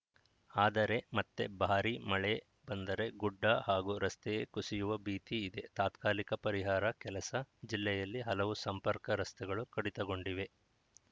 ಆದರೆ ಮತ್ತೆ ಭಾರಿ ಮಳೆ ಬಂದರೆ ಗುಡ್ಡ ಹಾಗೂ ರಸ್ತೆ ಕುಸಿಯುವ ಭೀತಿ ಇದೆ ತಾತ್ಕಾಲಿಕ ಪರಿಹಾರ ಕೆಲಸ ಜಿಲ್ಲೆಯಲ್ಲಿ ಹಲವು ಸಂಪರ್ಕ ರಸ್ತೆಗಳು ಕಡಿತಗೊಂಡಿವೆ